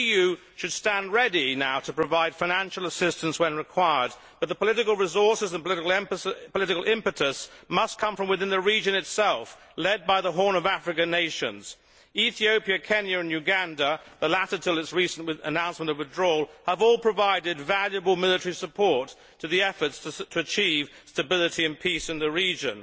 The EU should stand ready now to provide financial assistance when required but the political resources and political impetus must come from within the region itself led by the Horn of Africa nations Ethiopia, Kenya and Uganda. The latter, until a recent announcement of withdrawal, have all provided valuable military support to the efforts to achieve stability and peace in the region.